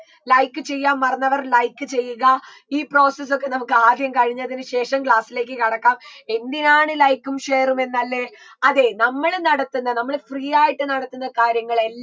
like ചെയ്യാൻ മറന്നവർ like ചെയ്യുക ഈ process ഒക്കെ നമുക്ക് ആദ്യം കഴിഞ്ഞതിന് ശേഷം class ലേക്ക് കടക്കാം എന്തിനാണ് like ഉം share ഉം എന്നല്ലേ അതെ നമ്മള് നടത്തുന്ന നമ്മൾ free ആയിട്ട് നടത്തുന്ന കാര്യങ്ങളെ